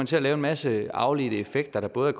til at lave en masse afledte effekter der både